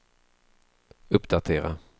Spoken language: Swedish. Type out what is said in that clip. uppdatera